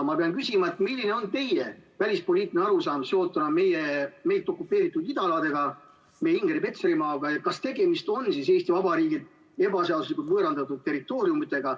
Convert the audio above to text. Ma pean küsima, milline on teie välispoliitiline arusaam seotuna meilt okupeeritud idaaladega, meie Ingeri-, Petserimaaga, ja kas tegemist on siis Eesti Vabariigilt ebaseaduslikult võõrandatud territooriumidega.